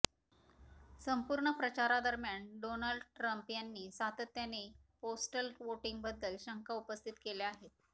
संपूर्ण प्रचारादरम्यान Donald Trump यांनी सातत्याने पोस्टल व्होटिंगबद्दल शंका उपस्थित केल्या आहेत